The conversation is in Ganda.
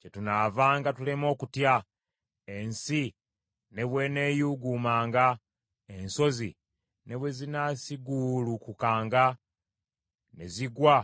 Kyetunaavanga tulema okutya, ensi ne bw’eneeyuuguumanga, ensozi ne bwe zinaasiguulukukanga ne zigwa